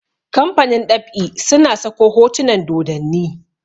kamfanin ɗab'i suna Sako hotunan dodanni